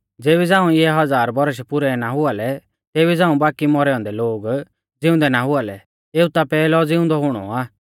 ज़ेबी झ़ांऊ इऐ हज़ार बौरश पुरै ना हुआ लै तेबी झ़ांऊ बाकी मौरै औन्दै लोग ज़िउंदै ना हुआ लै एऊ ता पैहलौ ज़िउंदौ हुणौ आ